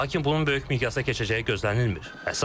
Lakin bunun böyük miqyasda keçəcəyi gözlənilmir.